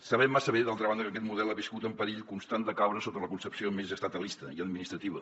sabem massa bé d’altra banda que aquest model ha viscut en perill constant de caure sota la concepció més estatalista i administrativa